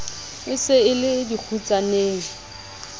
e se e le dikgutsaneng